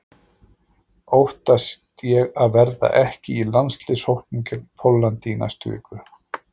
Óttast ég að verða ekki í landsliðshópnum gegn Póllandi í næstu viku?